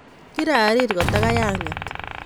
Kirarir kotakay anget